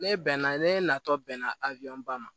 Ne bɛn na ne natɔ bɛnna a wilɔnba ma